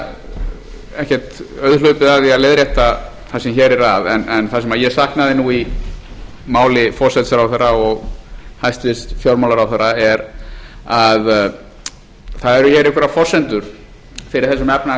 það er ekkert auðhlaupið að því að leiðrétta það sem hér er að en það sem ég saknaði í máli forsætisráðherra og hæstvirtur fjármálaráðherra eru einhverjar forsendur fyrir